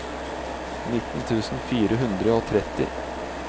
nitten tusen fire hundre og tretti